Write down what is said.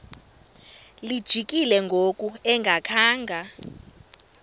lijikile ngoku engakhanga